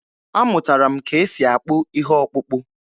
Amụtara m ka e si akpụ ihe ọkpụkpụ.